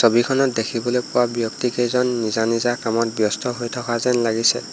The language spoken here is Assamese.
ছবিখনত দেখিবলে পোৱা ব্যক্তি কেইজন নিজা নিজা কামত ব্যস্ত হৈ থকা যেন লাগিছে।